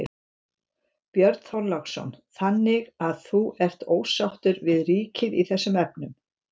Björn Þorláksson: Þannig að þú ert ósáttur við ríkið í þessum efnum?